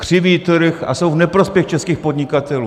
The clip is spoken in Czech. Křiví trh a jsou v neprospěch českých podnikatelů.